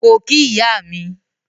Ko ki iya mi.